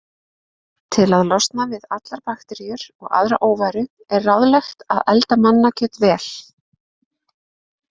Til að losna við allar bakteríur og aðra óværu er ráðlegt að elda mannakjöt vel.